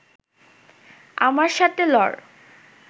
আমার সাথে লড়